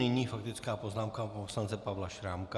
Nyní faktická poznámka poslance Pavla Šrámka.